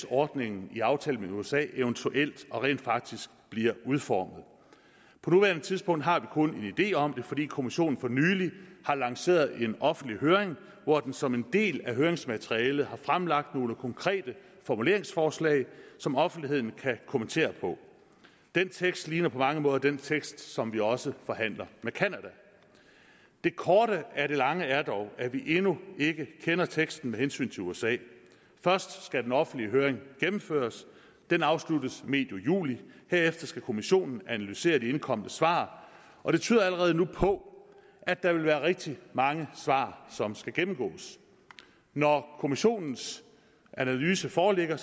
ordningen i aftalen med usa eventuelt og rent faktisk bliver udformet på nuværende tidspunkt har vi kun en idé om det fordi kommissionen for nylig har lanceret en offentlig høring hvor den som en del af høringsmaterialet har fremlagt nogle konkrete formuleringsforslag som offentligheden kan kommentere den tekst ligner på mange måder den tekst som vi også forhandler med canada det korte af det lange er dog at vi endnu ikke kender teksten med hensyn til usa først skal den offentlige høring gennemføres den afsluttes medio juli herefter skal kommissionen analysere de indkomne svar og det tyder allerede nu på at der vil være rigtig mange svar som skal gennemgås når kommissionens analyse foreligger